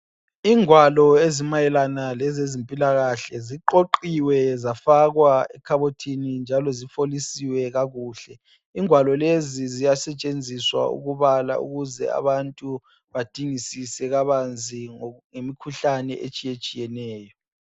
Ingwalo ezimayelana lezezimpilakahle. Ziqoqiwe zafakwa ekhabothini njalo zifolisiwe kakuhle. Ingwalo lezi ziyasetshenziswa ukubala ukuze abantu badingisise kabanzi ngemikhuhlane etshiyetshiyeneyo.